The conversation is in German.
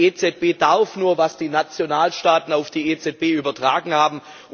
Die EZB darf nur, was die Nationalstaaten auf die EZB übertragen haben.